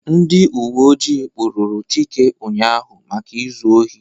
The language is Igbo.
Ndị uwe ọjị kpụrụru Chike ụnyaahụ maka ịzụ ohi